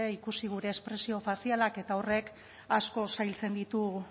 ikusi gure espresio faziala eta horrek asko zailtzen ditu